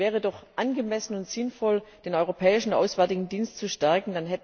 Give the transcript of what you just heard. Es wäre doch angemessen und sinnvoll, den Europäischen Auswärtigen Dienst zu stärken.